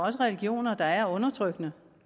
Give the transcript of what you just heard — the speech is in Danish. er religioner der er undertrykkende